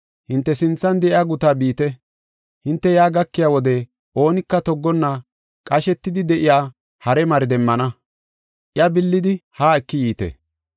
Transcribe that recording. “Hinte sinthan de7iya gutaa biite, hinte yaa gakiya wode oonika toggonna qashetidi de7iya hare mari demmana. Iya billidi haa eki yiite.